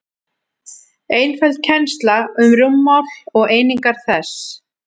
einföld kennsla um rúmmál og einingar þess